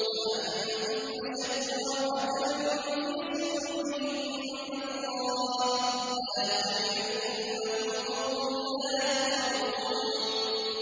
لَأَنتُمْ أَشَدُّ رَهْبَةً فِي صُدُورِهِم مِّنَ اللَّهِ ۚ ذَٰلِكَ بِأَنَّهُمْ قَوْمٌ لَّا يَفْقَهُونَ